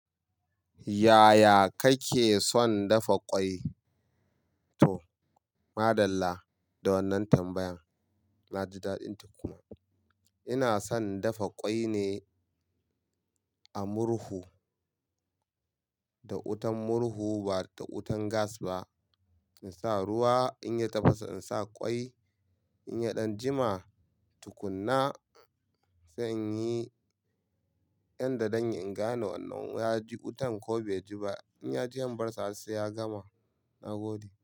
Yaya kake son dafa ƙwai? To, maɗalla. Da wannan tambayan na ji daɗin tukuna. Ina son dafa ƙwai ne a murhu, da wutan murhu ba da wutan gas ba. In sa ruwa, in ya tafasa in sa ƙwai, in ya ɗan jima tukunna sai in yi yan da zanyi. In gane wannan ya ji wutan ko bai ji ba. In ya ji, in bar sa har sai ya gama. Na gode.